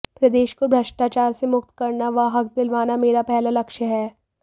प्रदेश को भ्रष्टाचार से मुक्त करना व हक दिलवाना मेरा पहला लक्ष्य है